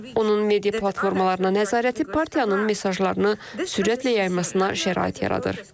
Onun media platformalarına nəzarəti partiyanın mesajlarını sürətlə yaymasına şərait yaradır.